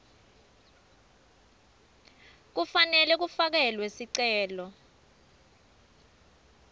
kufanele kufakelwe sicelo